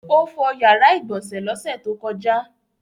Ó fọ ìyàrá-ìgbọ̀nsẹ̀ lọ́sẹ̀ tó kọjá?